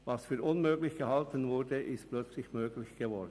Was für unmöglich gehalten wurde, ist plötzlich möglich geworden.